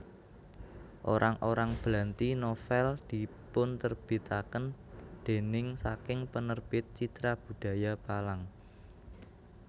Orang orang Blanti novel dipunterbitaken déning saking Penerbit Citra Budaya Palang